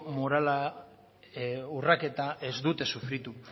morala urraketa ez dute sufritu